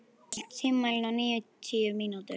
Markó, stilltu tímamælinn á níutíu mínútur.